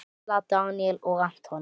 Stella, Daníel og Anton.